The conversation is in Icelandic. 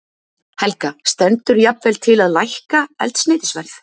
Helga: Stendur jafnvel til að lækka eldsneytisverð?